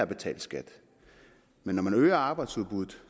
betalt skat men når man øger arbejdsudbuddet